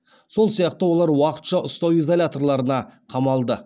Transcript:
сол сияқты олар уақытша ұстау изоляторларына қамалды